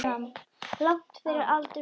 Langt fyrir aldur fram.